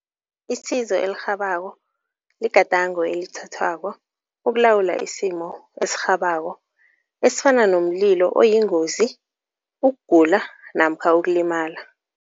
Isizo elirhabako ligadango elithathwako ukulawula isimo esirhabako esifana nomlilo oyingozi, ukugula namkha ukulimala.